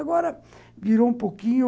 Agora virou um pouquinho...